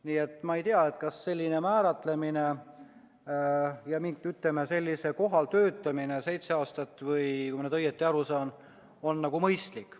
Nii et ma ei tea, kas selline määratlemine ja, ütleme, sellisel kohal töötamine seitse aastat, kui ma nüüd õigesti aru sain, on mõistlik.